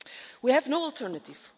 We have no alternative.